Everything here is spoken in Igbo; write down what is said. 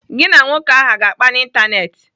Gị na nwoke ahụ aga akpa n'Ịntanetị?